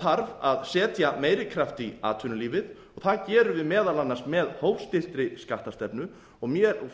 þarf að setja meiri kraft í atvinnulífið og það gerum við meðal annars með hófstilltri skattastefnu